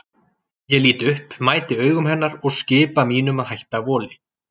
Ég lít upp, mæti augum hennar og skipa mínum að hætta voli.